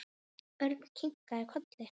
Örn kinkaði kolli.